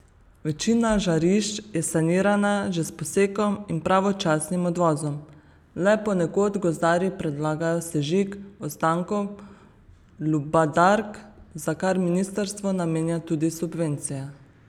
Večina žarišč je sanirana že s posekom in pravočasnim odvozom, le ponekod gozdarji predlagajo sežig ostankov lubadark, za kar ministrstvo namenja tudi subvencije.